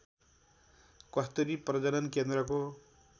कस्तुरी प्रजनन केन्द्रको